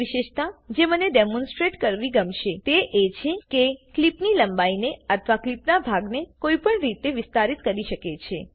બીજી વિશેષતા જે મને ડેમોનસ્ટ્રેટ કરવી ગમશે તે એ છે કે ક્લીપની લંબાઈને અથવા ક્લીપનાં ભાગને કોઈપણ કેવી રીતે વિસ્તારિત કરી શકે છે